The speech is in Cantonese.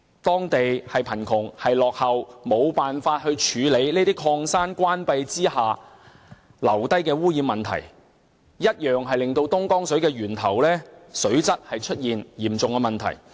當地既貧窮又落後，無法處理這些礦山關閉後遺留的污染問題，以致東江水的源頭水質出現嚴重問題。